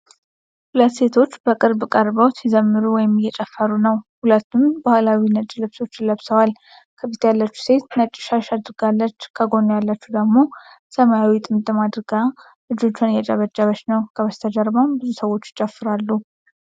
ሁለት ሴቶች በቅርብ ቀርበው ሲዘምሩ ወይም እየጨፍሩ ነው። ሁለቱም ባህላዊ ነጭ ልብሶች ለብሰዋል። ከፊት ያለችው ሴት ነጭ ሻሽ አድርጋለች፣ ከጎኗ ያለችው ሴት ደግሞ ሰማያዊ ጥምጣም አድርጋ እጆቿን እያጨበጨበች ነው። ከበስተጀርባ ብዙ ሰዎች ይጨፍራሉ።